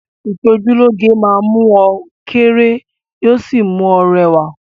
Ìṣojúlóge máa mú ọ kéré yóò sì mú ọ rẹwà